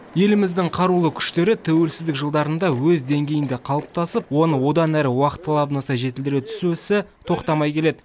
еліміздің қарулы күштері тәуелсіздік жылдарында өз деңгейінде қалыптасып оны одан әрі уақыт талабына сай жетілдіре түсу ісі тоқтамай келеді